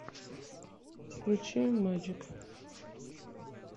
включи мэджик